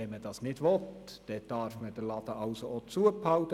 Wenn man das also nicht will, dann darf man den Laden auch geschlossen halten.